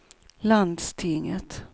landstinget